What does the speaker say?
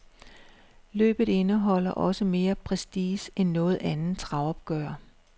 Løbet indeholder også mere prestige end noget andet travopgør.